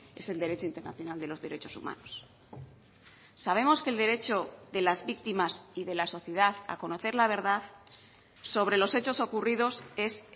es el derecho internacional de los derechos humanos sabemos que el derecho de las víctimas y de la sociedad a conocer la verdad sobre los hechos ocurridos es